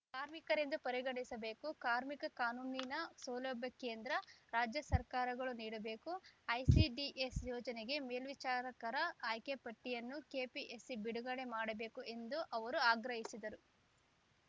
ಕಾರ್ಮಿಕರೆಂದು ಪರಿಗಣಿಸಬೇಕು ಕಾರ್ಮಿಕ ಕಾನೂನಿನ ಸೌಲಭ್ಯ ಕೇಂದ್ರ ರಾಜ್ಯ ಸರ್ಕಾರಗಳು ನೀಡಬೇಕು ಐಸಿಡಿಎಸ್‌ ಯೋಜನೆಗೆ ಮೇಲ್ವಿಚಾರಕರ ಆಯ್ಕೆ ಪಟ್ಟಿಯನ್ನು ಕೆಪಿಎಸ್‌ಸಿ ಬಿಡುಗಡೆ ಮಾಡಬೇಕು ಎಂದು ಅವರು ಆಗ್ರಹಿಸಿದರು